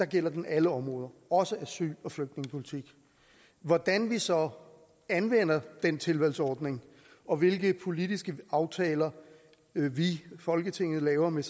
gælder den alle områder også asyl og flygtningepolitik hvordan vi så anvender den tilvalgsordning og hvilke politiske aftaler vi folketinget laver med